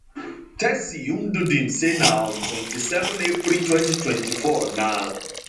tessy ndudim say na on 27 april 2024 na